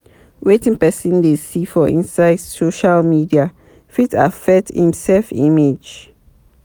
Wetin person dey see for inside social media fit affect im self image